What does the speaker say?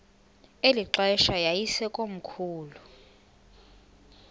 eli xesha yayisekomkhulu